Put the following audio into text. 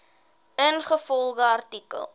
ingevolge artikel